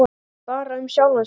Bara um sjálfan sig.